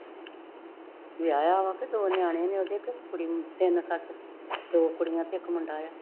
ਲਿਆਯਾ ਵਾ ਕੇ ਦੋ ਨਿਆਣੇ ਨੇ ਤਿਨ ਸੱਚ ਦੋ ਕੁੜੀਆਂ ਤੇ ਇੱਕ ਮੁੰਡਾ ਆ